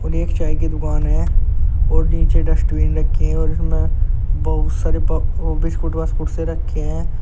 सामने एक चाय की दुकान है और नीचे डस्टबिन रखे हैं और इसमें बहुत सारे प बिस्कुट वास्कुट से रखे हैं।